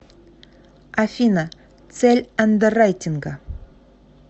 афина цель андеррайтинга